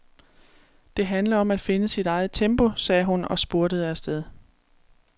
Det handler om at finde sit eget tempo, sagde hun og spurtede afsted.